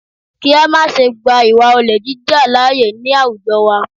Kí á má ṣe gba ìwà olè jíjà lááyè ní àwùjọ wa